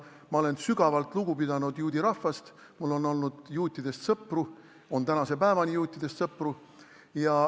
Ma olen sügavalt lugu pidanud juudi rahvast, mul on olnud juutidest sõpru, mul on tänase päevani juutidest sõpru.